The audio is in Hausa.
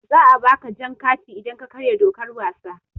Za a ba ka jan kati idan ka karya dokar wasa.